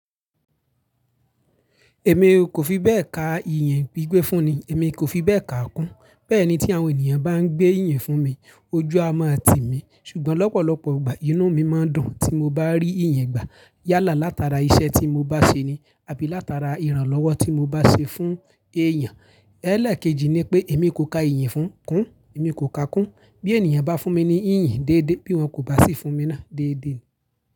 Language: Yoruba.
Èmi kò fi bẹ́ẹ̀ ka ìyìn gbígbẹ́ fún ni, èmi kò fi bẹ́ẹ̀ ka kún. Bẹ́ẹ̀ ni tí àwọn ènìyàn bá ń gbé ìyìn fún mi, ojú a mọ tì mí. Ṣùgbọ́n lọ́pọ̀lọpọ̀ ìgbà inú mi máa dùn tí mo bá rí ìyìn gbà. Yálà látara iṣẹ́ tí mo bá ṣe ni, àbí látara ìrànlọ́wọ́ tí mo bá ṣe fún èèyàn. Ẹ́lẹ̀kejì ni pé èmi kò ka ìyìn fún kún, èmi kò ka kún. Bí ènìyàn bá fún mi ní ìyìn déédéé bí wọn kò bá sì fún mi náà déédéé.